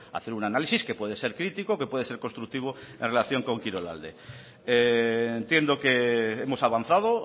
hacer un análisis que puede ser crítico que puede ser constructivo en relación con kirolalde entiendo que hemos avanzado